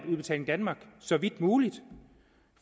udbetaling danmark så vidt muligt